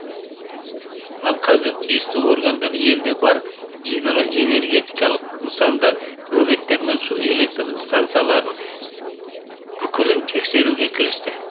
ал қазір тиісті органдар елде бар гидроэнергетикалық нысандар бөгеттер мен су электр стансаларының бүкілін тексеруге кірісті